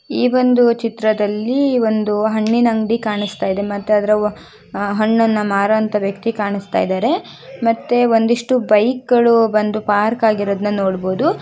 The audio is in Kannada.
ಈ ಒಂದು ಚಿತ್ರದಲ್ಲಿ ಒಂದು ಹಣ್ಣಿನ ಅಂಗಡಿ ಕಾಣಿಸ್ತಾ ಇದೆ ಮತ್ತೆ ಅದರ ಹಣ್ಣನ್ನ ಮಾರುವಂತಹ ವ್ಯಕ್ತಿ ಕಾಣಿಸ್ತಾಇದ್ದಾರೆ ಮತ್ತೆ ಒಂದಿಷ್ಟು ಬೈಕ್ ಗಳು ಒಂದು ಪಾರ್ಕ್ ಆಗಿರುವುದನ್ನು ನೋಡಬಹುದು.